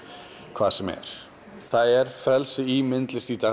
hvað sem er það er frelsi í myndlist í dag